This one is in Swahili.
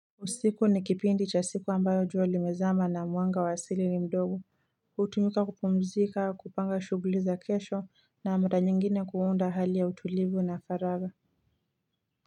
Usiku ni kipindi chasiku ambayo juo limezama na mwanga wa asili nimdogo Utumika kupumzika kupanga shughuli za kesho na mara nyingine kuunda hali ya utulivu na faraga.